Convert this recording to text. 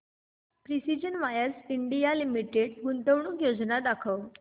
precision wires India limited गुंतवणूक योजना दाखव